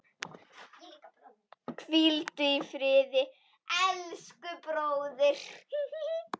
Hvíldu í friði, elsku bróðir.